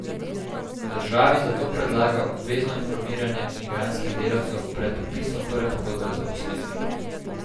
Državi zato predlaga obvezno informiranje migrantskih delavcev pred podpisom prve pogodbe o zaposlitvi.